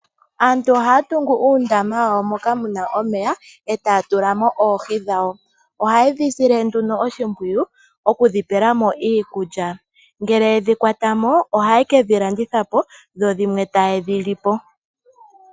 Aantu ohaa tungu uundama wawo moka muna omeya e taa tula mo oohi dhawo, ohaye dhi sile nduno oshimpwiyu okudhipela mo iikulya. Ngele yedhi kwata mo ohaye ke dhi landitha po dho dhimwe taye dhi li po.